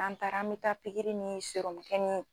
An taara an mɛ taa pikiri ni ni